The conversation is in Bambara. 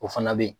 O fana bɛ ye